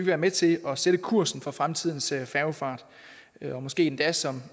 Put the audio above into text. være med til at sætte kursen for fremtidens færgefart eller måske endda som